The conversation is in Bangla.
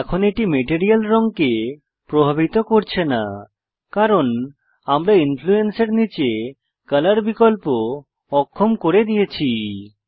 এখন এটি মেটেরিয়াল রঙকে প্রভাবিত করছে না কারণ আমরা ইন্ফ্লুন্সের নীচে কলর বিকল্প অক্ষম করে দিয়েছি